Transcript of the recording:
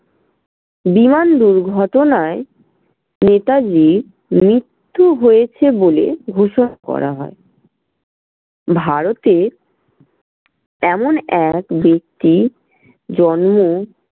বিমান দুর্ঘটনায় নেতাজির মৃত্যু হয়েছে বলে ঘোষণা করা হয়। ভারতের এমন এক ব্যাক্তির জন্ম